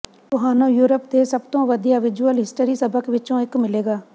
ਤੁਹਾਨੂੰ ਯੂਰਪ ਦੇ ਸਭ ਤੋਂ ਵਧੀਆ ਵਿਜ਼ੁਅਲ ਹਿਸਟਰੀ ਸਬਕ ਵਿੱਚੋਂ ਇੱਕ ਮਿਲੇਗਾ